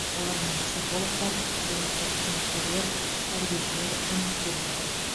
олармен психологтар әлеуметтік қызметкерлер тәрбиешілер жұмыс істе жатыр